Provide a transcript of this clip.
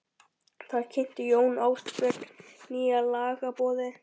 Þar kynnti Jón Ásbjarnarson nýja lagaboðið.